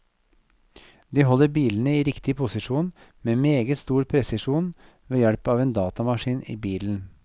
De holder bilene i riktig posisjon med meget stor presisjon ved hjelp av en datamaskin i bilen.